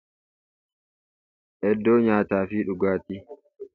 Iddoo nyaataa fi dhugaatii.